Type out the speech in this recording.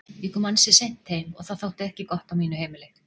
Ég kom ansi seint heim og það þótti ekki gott á mínu heimili.